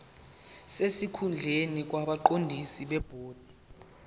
sesikhundleni kwabaqondisi bebhodi